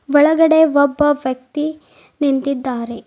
ಒಳಗಡೆ ಒಬ್ಬ ವ್ಯಕ್ತಿ ನಿಂತಿದ್ದಾರೆ.